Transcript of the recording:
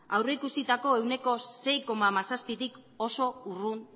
aurreikusitako sei koma hamazazpitik oso urrun